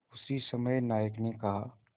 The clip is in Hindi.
उसी समय नायक ने कहा